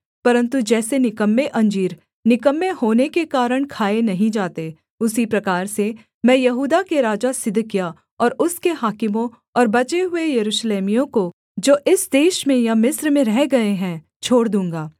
परन्तु जैसे निकम्मे अंजीर निकम्मे होने के कारण खाए नहीं जाते उसी प्रकार से मैं यहूदा के राजा सिदकिय्याह और उसके हाकिमों और बचे हुए यरूशलेमियों को जो इस देश में या मिस्र में रह गए हैं छोड़ दूँगा